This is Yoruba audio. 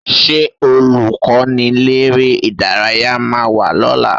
Ṣé Olùkọ́niléré-ìdárayá máa wá lọ́la?